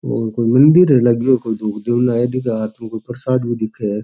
और कोई मंदिर है कोई धोक देन आयो दिखे है प्रसाद भी दिखे है।